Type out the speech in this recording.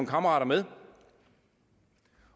kammerater med